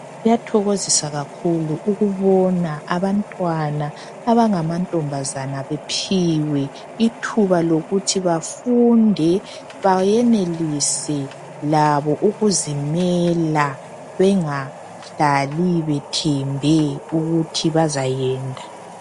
Kuyathokozisa kakhulu ukubona abantwana abangamantombazana bephiwe ithuba lokuthi bafunde bayenelise labo ukuzimela bengahlali bethembe ukuthi bazayenda.